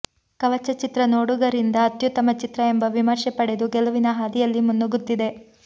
ಕವಚ ಚಿತ್ರ ನೋಡುಗರಿಂದ ಅತ್ಯುತ್ತಮ ಚಿತ್ರ ಎಂಬ ವಿಮರ್ಶೆ ಪಡೆದು ಗೆಲುವಿನ ಹಾದಿಯಲ್ಲಿ ಮುನ್ನುಗ್ಗುತ್ತಿದೆ